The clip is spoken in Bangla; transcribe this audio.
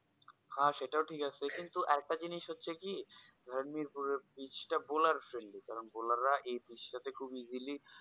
হ্যা সেটাও ঠিক আছে তবে একটা জিনিস হচ্ছে কি পিচটা dollar friendly এই dollar এই পিচটা খুব easily